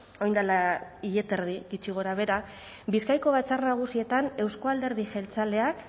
orain dela hile eta erdi gitxi gorabehera bizkaiko batzar nagusietan euzko alderdi jeltzaleak